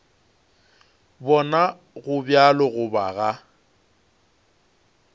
bona go bjalo goba ga